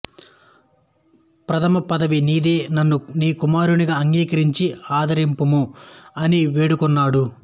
ప్రథమ పదవి నీదే నన్ను నీకుమారునిగా అంగీకరించి ఆదరింపుము అని వేడుకున్నాడు